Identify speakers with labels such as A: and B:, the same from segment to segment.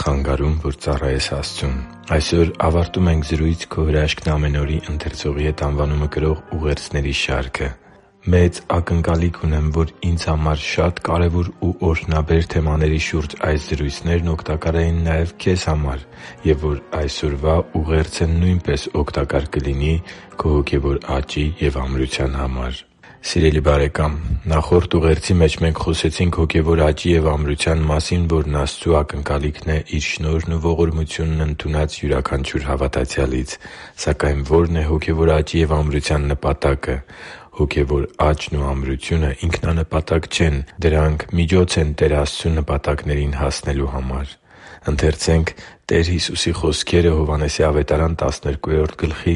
A: խանգարում, որ ծառայես Աստծուն Այսօր ավարտում ենք «Զրույց«Քո հրաշքն՝ ամեն օր»-ի ընթերցողի հետ» անվանումը կրող ուղերձների շարքը։ Մեծ ակնկալիք ունեմ, որ ինձ համար շատ կարևոր ու օրհնաբեր թեմաների շուրջ այս զրույցներն օգտակար էին քեզ համար և որ այսօրվա ուղերձը նույնպես օգտակար կլինի քո հոգևոր աճի և ամրության համար։ Սիրելի՛ բարեկամ, նախորդ ուղերձի մեջ մենք խոսեցինք հոգևոր աճի և ամրության մասին, որն Աստծու ակնկալիքն է Իր շնորհն ու ողորմությունն ընդունած յուրաքանչյուր հավատացյալից։ Սակայն ո՞րն է հոգևոր աճի և ամրության նպատակը։ Հոգևոր աճն ու ամրությունը ինքնանպատակ չեն։ Դրանք միջոց են Տեր Աստծու նպատակներին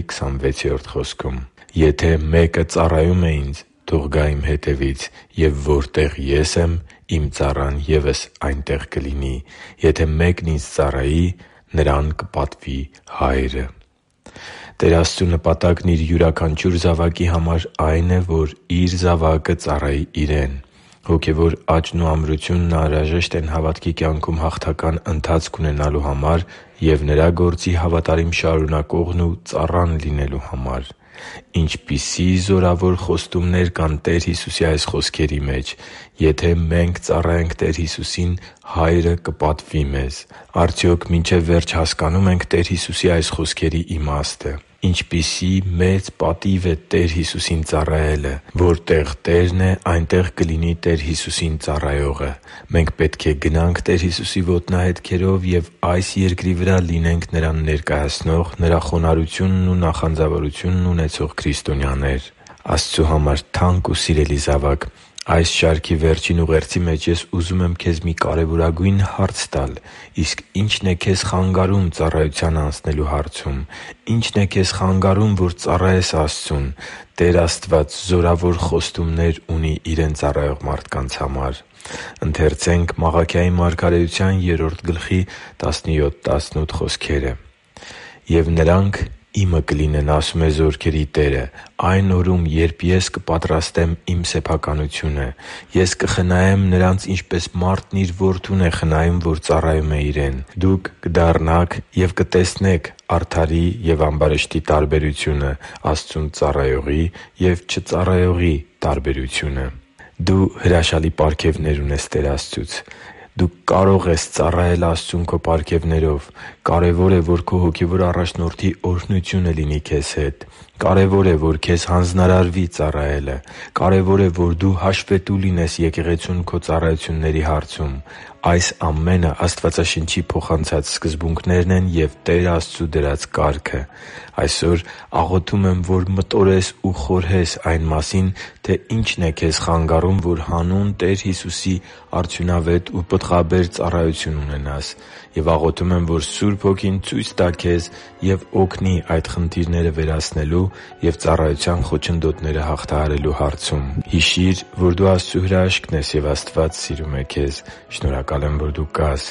A: հասնելու համար։ «Եթե մեկը ծառայում է Ինձ, թող գա Իմ հետևից, և որտեղ Ես եմ, Իմ ծառան ևս այնտեղ կլինի։ Եթե մեկն Ինձ ծառայի, նրան կպատվի Հայրը» (Հովհաննես 12.26): Տեր Աստծու նպատակն Իր յուրաքանչյուր զավակի համար այն է, որ Իր զավակը ծառայի Իրեն։ Հոգևոր աճն ու ամրությունն անհրաժեշտ են հավատքի կյանքում հաղթական ընթացք ունենալու համար և Նրա գործի հավատարիմ շարունակողն ու ծառան լինելու համար։ Ինչպիսի՜ զորավոր խոստումներ կան Տեր Հիսուսի այս խոսքերի մեջ։ Եթե մենք ծառայենք Տեր Հիսուսին, Հայրը կպատվի մեզ։ Արդյոք մինչև վերջ հասկանո՞ւմ ենք Տեր Հիսուսի այս խոսքերի իմաստը։ Ինչպիսի՜ մեծ պատիվ է Տեր Հիսուսին ծառայելը։ Որտեղ Տերն է, այնտեղ կլինի Տեր Հիսուսին ծառայողը։ Մենք պետք է գնանք Տեր Հիսուսի ոտնահետքերով և այս երկրի վրա լինե՛նք Նրան ներկայացնող, Նրա խոնարհությունն ու նախանձավորությունն ունեցող քրիստոնյաներ։ Աստծու համար թանկ ու սիրելի՛ զավակ, այս շարքի վերջին ուղերձի մեջ ուզում եմ քեզ մի կարևորագույն հարց տալ․ իսկ ի՞նչն է քեզ խանգարում ծառայության անցնելու հարցում։ Ի՞նչն է քեզ խանգարում, որ ծառայես Աստծուն։ Տեր Աստված զորավոր խոստումներ ունի Իրեն ծառայող մարդկանց համար։ «Եվ նրանք Իմը կլինեն,- ասում է Զորքերի Տերը,- այն օրում, երբ Ես կպատրաստեմ Իմ իսկ սեփականությունը։ Ես կխնայեմ նրանց, ինչպես մարդ իր որդուն է խնայում, որ ծառայում է իրեն։ Դուք ետ կդառնաք և կզատորոշեք արդարին և ամբարիշտին, Աստծուն ծառայողին և չծառայողին» (Մաղաքիա 3․17-18): Դու հրաշալի պարգևներ ունես Տեր Աստծուց։ Դու կարո՛ղ ես ծառայել Աստծուն քո պարգևներով։ Կարևոր է, որ քո հոգևոր առաջնորդի օրհնությունը լինի քեզ հետ։ Կարևոր է, որ քեզ հանձնարարվի ծառայելը։ Կարևոր է, որ դու հաշվետու լինես եկեղեցուն քո ծառայությունների հարցում։ Այս ամենը Աստվածաշնչի փոխանցած սկզբունքներն են և Տեր Աստծու դրած կարգը։ Այսօր աղոթում եմ, որ մտորես ու խորհես այն մասին, թե ի՛նչն է քեզ խանգարում, որ հանուն Տեր Հիսուսի արդյունավետ ու պտղաբեր ծառայություն ունենաս։ Եվ աղոթում եմ, որ Սուրբ Հոգին ցույց տա քեզ և օգնի այդ խնդիրները վերացնելու և ծառայության խոչընդոտները հաղթահարելու հարցում։ Հիշի՛ր, որ դու Աստծո հրաշքն ես, և Աստված սիրում է քեզ։ Շնորհակալ եմ, որ դու կա՛ս